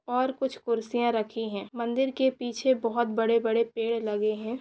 और कुछ कुर्सियां रखी है मंदिर के पीछे बहोत बड़े-बड़े पेड़ लगे है।